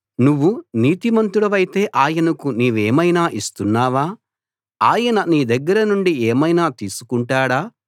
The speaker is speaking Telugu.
నువ్వు నీతిమంతుడివైతే ఆయనకు నీవేమైనా ఇస్తున్నావా ఆయన నీ దగ్గర నుండి ఏమైనా తీసుకుంటాడా